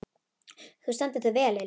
Þú stendur þig vel, Lilja!